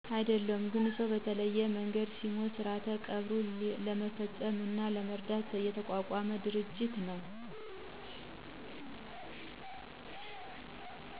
አደለሁም ግን ሰው በተለያየ መንገድ ሲሞት ስርዓተ ቀብሩን ለመፈፀምና ለመረዳዳት የተቋቋመ ድርጅት ነው።